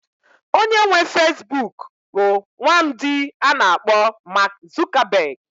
Onye nwe Feesbuk bụ nwaamdi a na-akpọ Maak Zukabeg.